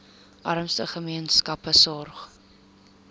armste gemeenskappe sorg